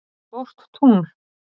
stórt tungl